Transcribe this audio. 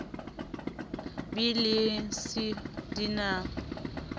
b le c di na